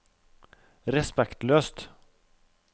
respektløst